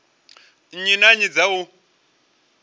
nnyi na nnyi dza u